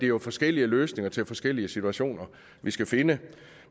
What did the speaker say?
jo forskellige løsninger til forskellige situationer vi skal finde